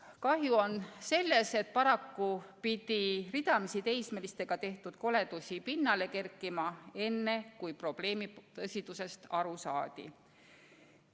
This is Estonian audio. Kahju on sellest, et paraku pidi ridamisi teismelistega tehtud koledusi pinnale kerkima, enne kui probleemi tõsidusest aru saadi.